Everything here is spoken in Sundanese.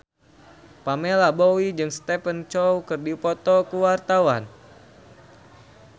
Pamela Bowie jeung Stephen Chow keur dipoto ku wartawan